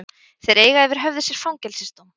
Þeir eiga yfir höfði sér fangelsisdóm